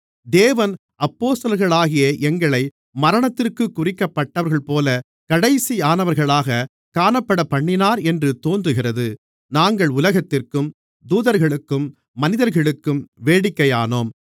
தேவன் அப்போஸ்தலர்களாகிய எங்களை மரணத்திற்குக் குறிக்கப்பட்டவர்கள்போலக் கடைசியானவர்களாகக் காணப்படப்பண்ணினார் என்று தோன்றுகிறது நாங்கள் உலகத்திற்கும் தூதர்களுக்கும் மனிதர்களுக்கும் வேடிக்கையானோம்